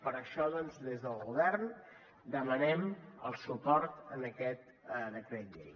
per això doncs des del govern demanem el suport a aquest decret llei